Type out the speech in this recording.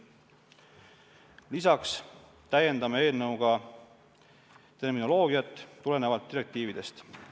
Lisaks täiendame eelnõuga direktiividest tulenevalt ka terminoloogiat.